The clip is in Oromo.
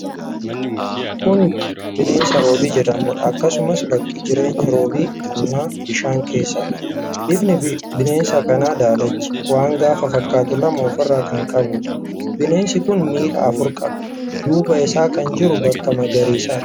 Kun bineensa Roobii jedhamuudha. Akkasumas bakki jireenya roobii kanaa bishaan keessaadha. Bifni bineensa kanaa daalacha. Waan gaafa fakkaatu lama ofiirraa kan qabuudha. Bineensi kun miilla afura qaba. Duuba isaa kan jiru bakka magariisa.